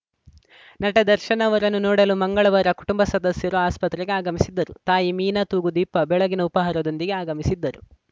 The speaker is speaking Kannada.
ನಟ ದರ್ಶನ್‌ ಅವರನ್ನು ನೋಡಲು ಮಂಗಳವಾರ ಕುಟುಂಬ ಸದಸ್ಯರು ಆಸ್ಪತ್ರೆಗೆ ಆಗಮಿಸಿದ್ದರು ತಾಯಿ ಮೀನಾ ತೂಗುದೀಪ ಬೆಳಗಿನ ಉಪಾಹಾರದೊಂದಿಗೆ ಆಗಮಿಸಿದ್ದರು